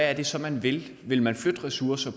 er det så man vil vil man flytte ressourcer